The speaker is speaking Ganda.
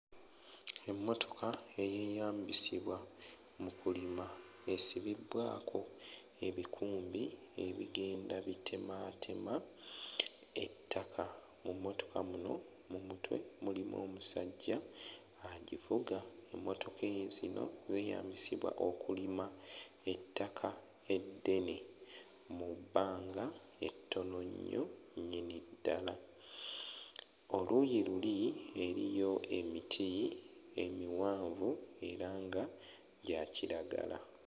Emmotoka eyeeyambisibwa mu kulima esibibbwako ebikumbi ebigenda bitemaatema ettaka. Mu mmotoka muno mu mutwe mulimu omusajja agivuga. Emmotoka eeh zino zeeyambisibwa okulima ettaka eddene mu bbanga ettono nnyo nnyini ddala. Oluuyi luli eriyo emiti emiwanvu era nga gya kiragala.